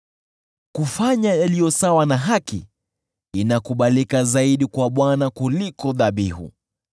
Kufanya yaliyo sawa na haki inakubalika zaidi kwa Bwana kuliko dhabihu.